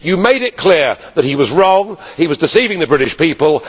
You made it clear that he was wrong and that he was deceiving the British people.